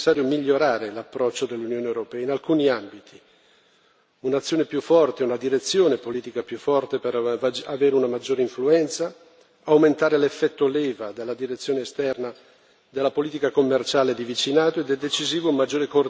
un'azione più forte, una direzione politica più forte per avere una maggior influenza, aumentare l'effetto leva dalla direzione esterna della politica commerciale di vicinato ed è decisivo un maggiore coordinamento delle diverse istituzioni europee e degli Stati membri.